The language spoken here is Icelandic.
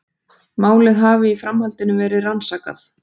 Málið hafi í framhaldinu verið rannsakað